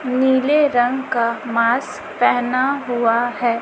नीले रंग का मास्क पहना हुवा हैं।